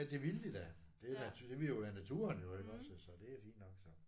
Ja det ville de da. Det er da det ville jo være naturen jo iggås altså det er fint nok så